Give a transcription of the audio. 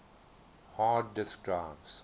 hard disk drives